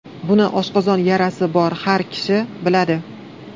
Buni oshqozon yarasi bor har bir kishi biladi.